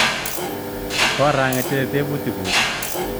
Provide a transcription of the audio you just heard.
Korangetite tebutik nguk